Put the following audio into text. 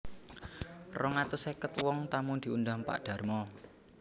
Rong atus sèket wong tamu diundang Pak Darmo